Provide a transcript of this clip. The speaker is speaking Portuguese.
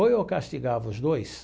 Ou eu castigava os dois.